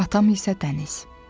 Atam isə dəniz.